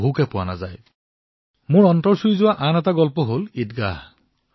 দ্বিতীয়টো কাহিনী যি মোৰ অন্তৰ স্পৰ্শ কৰিলে সেয়া হল ঈদগাহ